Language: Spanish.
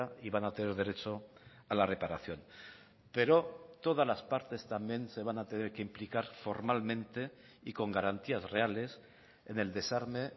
y van a tener derecho a la reparación pero todas las partes también se van a tener que implicar formalmente y con garantías reales en el desarme